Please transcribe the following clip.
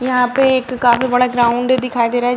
यहाँ पे एक काफी बड़ा ग्राउंड दिखाई दे रहा है।